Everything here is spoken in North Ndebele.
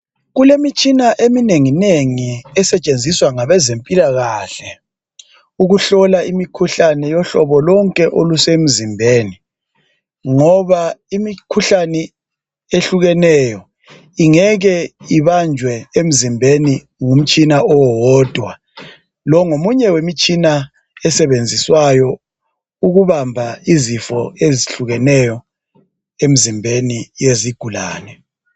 Kule mitshina eminenginengi esetshenziswa ngabazempilakahle ukuhlola imikhuhlane yohlobo lonke olusemzimbeni ngoba imikhuhlane ehlukeneyo ingeke ibanjwe emzimbeni ngumtshina owodwa lowo ngomunye wemitshina esebenziswayo ukubamba izifo ezihlukeneyo emzimbeni yezigulane.